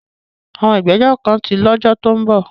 Àwọn ìgbẹ́jọ́ kan tí lọ́jọ́ lọ́dún tó ń bọ̀.